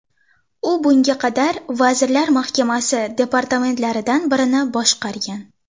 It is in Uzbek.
U bunga qadar Vazirlar Mahkamasi departamentlaridan birini boshqargan.